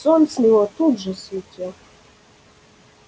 сон с него тут же слетел